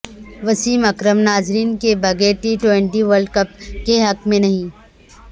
وسیم اکرم ناظرین کے بغیر ٹی ٹوئنٹی ورلڈ کپ کے حق میں نہیں